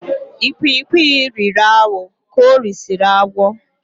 Ikwikwi riri awọ ka orisiri agwọ.